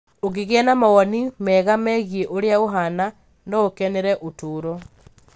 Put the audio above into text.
Ũngĩgĩa na mawoni mega megiĩ ũrĩa ũhaana, no ũkenere ũtũũro